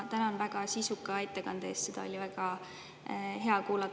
Ma tänan teid väga sisuka ettekande eest, seda oli väga hea kuulata.